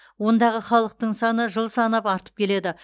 ондағы халықтың саны жыл санап артып келеді